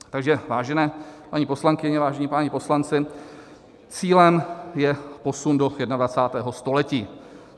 Takže vážené paní poslankyně, vážení páni poslanci, cílem je posun do 21. století.